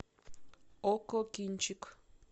окко кинчик